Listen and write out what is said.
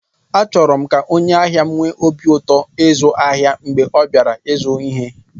Achọrọ m ka onye ahịa m nwee obi ụtọ ịzụ ahịa mgbe ọ bịara ịzụta ihe